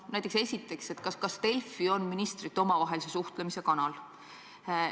Näiteks esiteks, kas Delfi on ministrite omavahelise suhtlemise kanal?